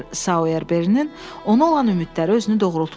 Mister Sayerberinin ona olan ümidləri özünü doğrultmuşdu.